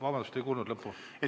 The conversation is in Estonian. Vabandust, ei kuulnud lõppu!